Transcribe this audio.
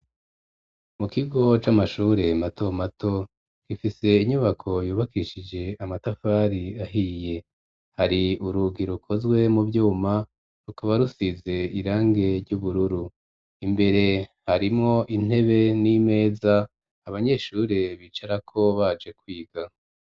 Mu kigo c'amashure mato mato, gifise inyubako yubakishije amatafari ahiye, hari urugi rukozwe mu vyuma, rukaba rusize irange ry'ubururu; imbere harimwo intebe n'imeza, abanyeshure bicarako baje kwiga.